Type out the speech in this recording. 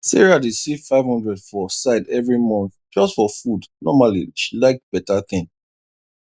sarah dey save five hundred for side every month just for food normally she like beta thing